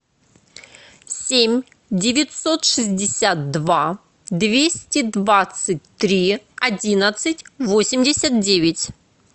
семь девятьсот шестьдесят два двести двадцать три одиннадцать восемьдесят девять